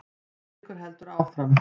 Eiríkur heldur áfram.